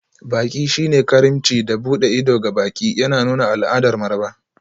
Baƙi shine karimci da buɗe ido ga baƙi, yana nuna al'adar maraba.